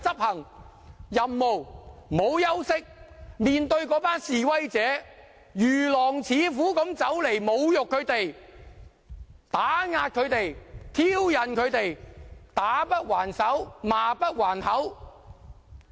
他們面對那群示威者如狼似虎的侮辱、打壓、挑釁，要打不還手，罵不還口。